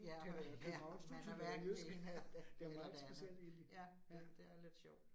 Ja. Ja, man er hverken det ene eller det eller det andet. Ja, ja det er lidt sjovt